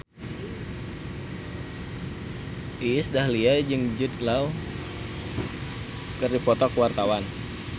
Iis Dahlia jeung Jude Law keur dipoto ku wartawan